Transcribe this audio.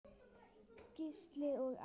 Gísli og Anna.